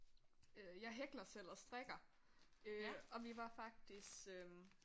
Øh jeg hækler selv og strikker øh og vi var faktisk øh